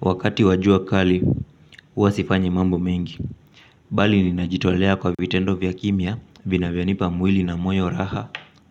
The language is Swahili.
Wakati wajua kali, huwasifanyi mambo mengi. Bali ninajitolea kwa vitendo vya kimia vina vya nipa mwili na moyo raha